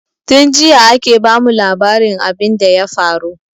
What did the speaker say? Tin jiya ake ba mu labarin abin da ya faru